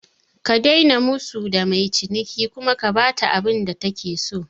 Ka daina musu da mai ciniki kuma ka bata abinda take so